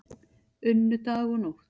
Unnu dag og nótt